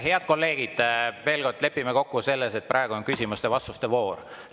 Head kolleegid, veel kord, lepime kokku selles, et praegu on küsimuste-vastuste voor.